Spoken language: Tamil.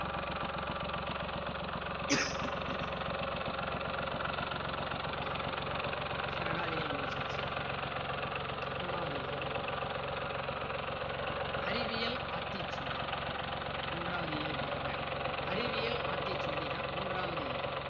okayso ரெண்டாவது இயல் முடிச்சாச்சு. மூணாவது இயல் அறிவியல் ஆத்திச்சூடி மூன்றாவது இயல் பாருங்க அறிவியல் ஆத்திச்சூடி தான் மூன்றாவது இயல்.